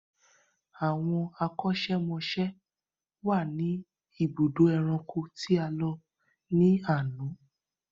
Àwọn akọ́ṣẹ́mọsẹ́ wà ní ibùdó ẹranko tí a lọ ní àná.